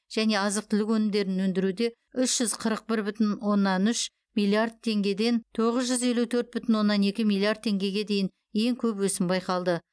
және азық түлік өнімдерін өндіруде үш жүз қырық бір бүтін оннан үш миллиард теңгеден тоғыз жүз елу төрт бүтін оннан екі миллиард теңгеге дейін ең көп өсім байқалды